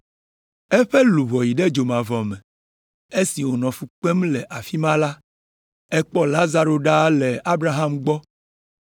Eƒe luʋɔ yi ɖe dzomavɔ me. Esi wònɔ fu kpem le afi ma la, ekpɔ Lazaro ɖaa le Abraham gbɔ.